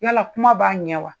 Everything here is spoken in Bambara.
Yala kuma b'a ɲɛ wa